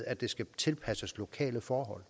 at det skal tilpasses lokale forhold